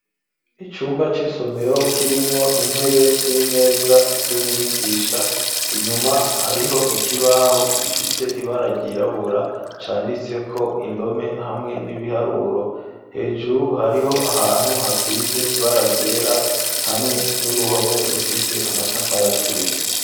Icumba c'isomero kirimwo intebe n'imeza vy'umwigisha, inyuma hariho ikibaho gifise ibara ryirabura canditse ko indome hamwe n'ibiharuro. Hejuru hariho ahantu hasize ibara ryera hamwe n'uruhome rufise amatafari aturiye.